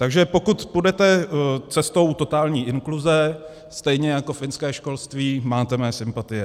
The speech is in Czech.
Takže pokud půjdete cestou totální inkluze stejně jako finské školství, máte mé sympatie.